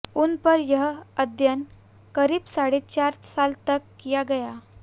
उन पर यह अध्ययन करीब साढ़े चार साल तक किया गया